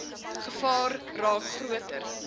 gevaar raak groter